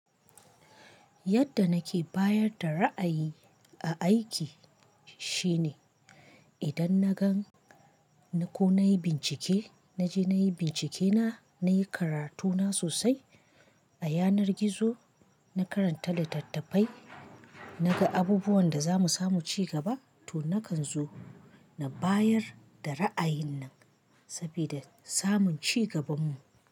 Yadda nake bayar da ra'ayi a aiki shine, idan na gan ko na yi bincike, na je na yi bincike na, na yi karatu na sosai a yanar gizo, na karanta littattafai, na ga abubuwan da za mu samu ci gaba, to na kan zo na bayar da ra'ayin nan sabida samun ci gabanmu.